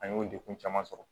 An y'o degun caman sɔrɔ